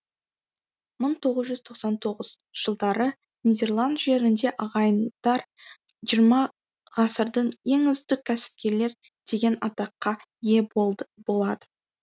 мың тоғыз жүз тоқсан тоғыз жылдары нидерланд жерінде ағайындар жиырма ғасырдың ең үздік кәсіпкерлер деген атаққа ие болады